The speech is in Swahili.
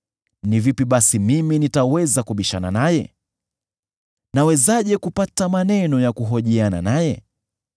“Ni vipi basi mimi nitaweza kubishana naye? Nawezaje kupata maneno ya kuhojiana naye?